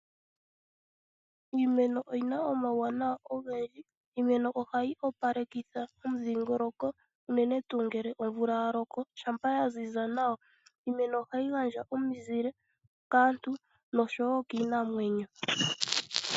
Iimeno oyi na omauwanawa ogendji. Ohayi opalekitha momudhingoloko unene tuu ngele omvula ya loko, shampa ya ziza nawa. Ohayi gandja omuzile kaantu nosho wo kiinamwenyo .